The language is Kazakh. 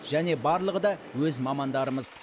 және барлығы да өз мамандарымыз